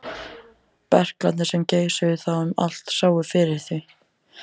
Berklarnir, sem geisuðu þá um allt, sáu fyrir því.